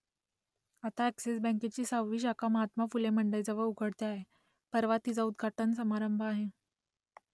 आता अ‍ॅक्सिस बँकेची सहावी शाखा महात्मा फुले मंडईजवळ उघडते आहे परवा तिचा उद्घाटन समारंभ आहे